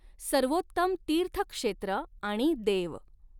सर्वोत्तम तीर्थ क्षेत्र आणि देव।